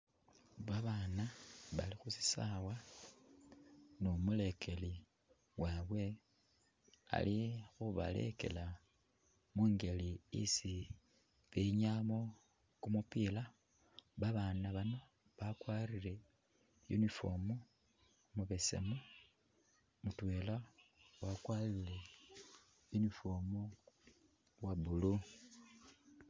Babaana bali khu sisawa nu mulekeli wabwe alikhubalekela munjeli isi binyayamo kumupila babaana bano bakwarire uniform mubesemu mutwela wakwarire uniform uwa blue.